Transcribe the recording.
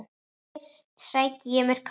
Fyrst sæki ég mér kaffi.